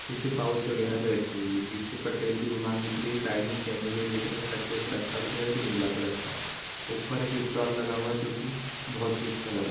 पीछे पाउच वगैरा जो राखी हुई है पीछे पटेल की दुकान दिख रही है साइड में चेयर बगैरा दिख रही है कचरे का डब्बा बड़ा दिख रहा है जो की नीले कलर का है ऊपर एक स्टाल लगा हुआ है जो की बहुत ही अच्छा लग --